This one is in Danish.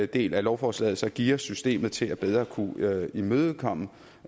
del af lovforslaget geares systemet til bedre at kunne imødekomme